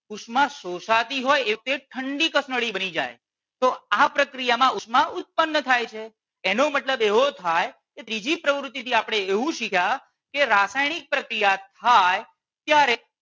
ઉષ્મા શોષાતી હોય એટલે ઠંડી કસનળી બની જાય. તો આ પ્રક્રિયામાં ઉષ્મા ઉત્પન્ન થાય છે એનો મતલબ એવો થાય કે ત્રીજી પ્રવૃતિ થી આપણે એવું શીખ્યા કે રાસાયણિક પ્રક્રિયા થાય ત્યારે